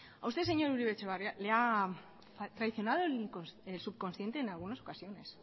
a usted señor uribe etxebarria le ha traicionado el subconsciente en algunas ocasiones